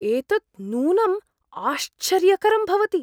एतत् नूनम् आश्चर्यकरं भवति!